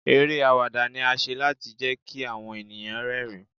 Eré àwàdà ni a ṣe láti jẹ́ kí àwọn ènìyàn rẹ́ rìn-ín.